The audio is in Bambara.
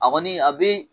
A kɔni a bɛ